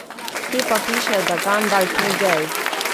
Kje pa piše, da Gandalf ni gej?